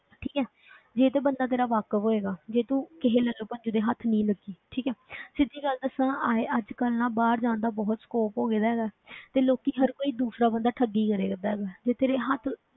ਠੀਕ ਹੈ ਜੇ ਤੇ ਬੰਦਾ ਤੇਰਾ ਵਾਕਫ਼ ਹੋਏਗਾ, ਜੇ ਤੂੰ ਕਿਸੇ ਲੱਲੂ ਪੰਜੂ ਦੇ ਹੱਥ ਨਹੀਂ ਲੱਗੀ ਠੀਕ ਹੈ ਸਿੱਧੀ ਗੱਲ ਦੱਸਾਂ ਆਏਂ ਅੱਜ ਕੱਲ੍ਹ ਨਾ ਬਾਹਰ ਜਾਣ ਦਾ ਬਹੁਤ scope ਹੋ ਗਿਆ ਹੈਗਾ ਹੈ ਤੇ ਲੋਕੀ ਹਰ ਕੋਈ ਦੂਸਰਾ ਬੰਦਾ ਠੱਗੀ ਕਰਿਆ ਕਰਦਾ ਹੈਗਾ ਹੈ, ਜੇ ਤੇਰੇ ਹੱਥ